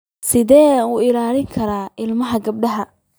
Sideen u ilaalin karnaa ilmaha gabadha?